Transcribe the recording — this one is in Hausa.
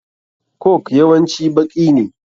Coke yawanci baƙi ne.